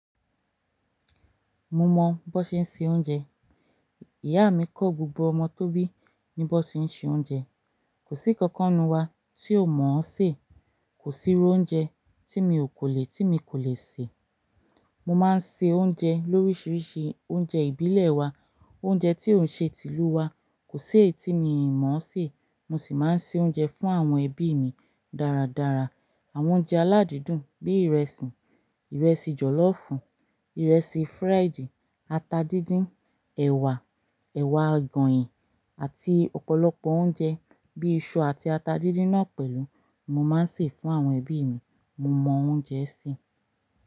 Mo mọ bó ṣe ń se oúnjẹ. Ìyá mi kọ gbogbo ọmọ tó bí ní bó ṣe ń se oúnjẹ. Kò sí ƙankan nínú wa tí ò mọ̀ọ́ sè. Kò sí irú oúnjẹ tí mi ò kò lè, tí mi kò lè sè. Mo máa ń ṣe oúnjẹ lóríṣiríṣi oúnjẹ ìbílẹ̀ wa, oúnjẹ tí ò ṣe tìlú wa, kò sí èyí tí mi mọ̀ọ́ sè. Mo sì máa ń ṣe oúnjẹ fún àwọn ẹbí mi dáradára. Àwọn oúnjẹ aládìdùn bí ìrẹsì, ìrẹsì jọ̀lọ́ọ̀fù, ìrẹsì fried, ata díndín, ẹ̀wà, ẹ̀wà agòyìn àti ọ̀pọ̀lọpọ̀ oúnjẹ bí i iṣu àti ata díndín náà pẹ̀lú mo máa ń sè fún àwọn ẹbí mi. Mo mọ oúnjẹ sè.